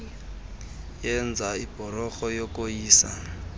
yenza ibhlorho yokoyisa